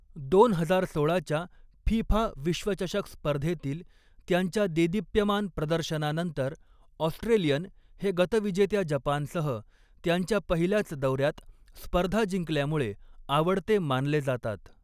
दोन हजार सोळाच्या फिफा विश्वचषक स्पर्धेतील त्यांच्या देदीप्यमान प्रदर्शनानंतर, ऑस्ट्रेलियन हे गतविजेत्या जपानसह, त्यांच्या पहिल्याच दौऱ्यात स्पर्धा जिंकल्यामुळे आवडते मानले जातात.